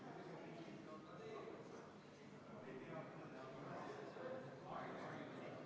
Komisjoni liikmed tundsid huvi, kas artikkel 22, mis puudutab puudega inimestega suhtlemist, on läbi räägitud ka Sotsiaalministeeriumiga.